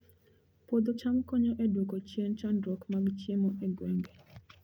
Puodho cham konyo e duoko chien chandruok mag chiemo e gwenge